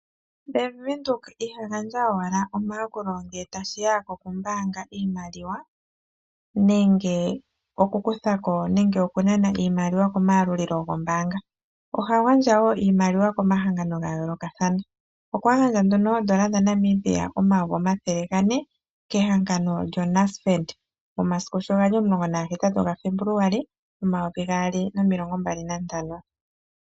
Bank windhoek iha gandja omayakulo owala ngele taashiya kokumbaanga iimaliwa nenge oku kuthako nenge okunana iimaliwa komayalulilo gokombaanga. Oha gandja woo iimaliwa komahangano gayoolokathana. Okwa gandja nduno oodola dha Namibia omayovi omathele gane kehangano lyo NASFED omasiku sho gali omulongo nagahetatu gaFebuluwali omayovi gaali nomilongo mbali nantano.